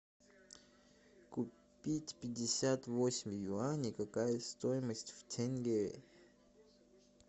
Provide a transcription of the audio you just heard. купить пятьдесят восемь юаней какая стоимость в тенге